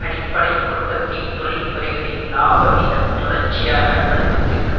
அடிப்படை உற்பத்தி தொழிற்துறைகளில் இலாபவீதம் தொடர்ச்சியாக அழுத்தத்திற்கு